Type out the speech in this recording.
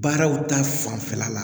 Baaraw ta fanfɛla la